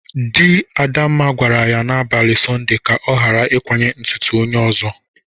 Di Adamma gwara ya n'abalị sọnde ka o gara ikwanye ntụtụ onye ọzọ.!